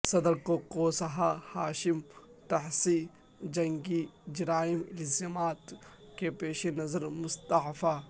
صدر Kosovo Hashim Thaci جنگی جرائم الزامات کے پیش نظر مستعفی